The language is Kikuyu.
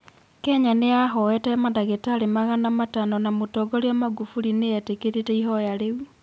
Kenya nĩ yahoete mandagĩtarĩ magana matano na Mũtongoria Magufuli nĩ eetĩkĩrire ihoya rĩu.